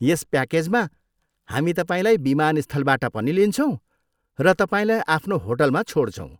यस प्याकेजमा, हामी तपाईँलाई विमानस्थलबाट पनि लिन्छौँ र तपाईँलाई आफ्नो होटलमा छोड्छौँ।